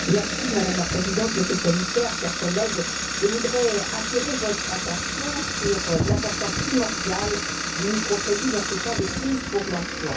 Madame la Présidente, Monsieur le Commissaire, chers collègues, je voudrais attirer votre attention sur l'importance primordiale du microcrédit dans ces temps de crise pour l'emploi.